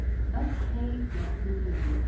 Öll hey grotnuð niður.